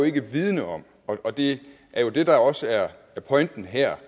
ikke vidende om og det er jo det der også er pointen her